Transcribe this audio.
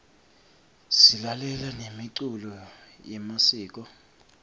silalela nemiculo yemasiko